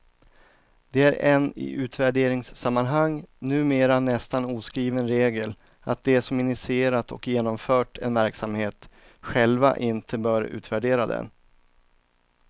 Det är en i utvärderingssammanhang numera nästan oskriven regel, att de som initierat och genomfört en verksamhet, själva inte bör utvärdera den.